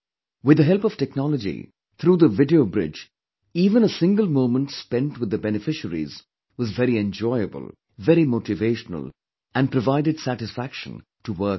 With the help of technology, through the video bridge even a single moment spentwith the beneficiaries was very enjoyable, very motivational and provided satisfaction to work more